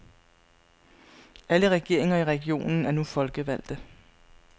Alle regeringer i regionen er nu folkevalgte.